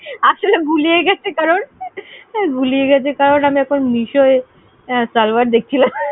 আসলে গুলিয়ে গেছে কারণ~আসলে গুলিয়ে গেছে কারণ আমি এখন mesho এ server দেখছিলাম।